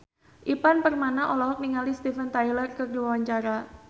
Ivan Permana olohok ningali Steven Tyler keur diwawancara